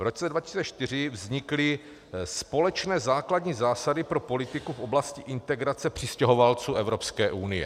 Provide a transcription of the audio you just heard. V roce 2004 vznikly společné základní zásady pro politiku v oblasti integrace přistěhovalců Evropské unie.